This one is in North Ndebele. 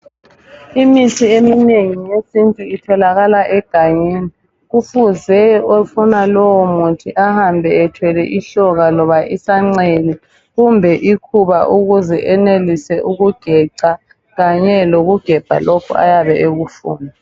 Imithi eminengi yesintu itholakala egangeni kufuze ofuna lowo muthi ahambe ethwele ihloka loba isancele kumbe ikhuba ukuze enelise ikugeca kanye lokugebha lokhu ayabe ekufuna